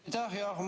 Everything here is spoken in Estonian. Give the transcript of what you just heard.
Aitäh!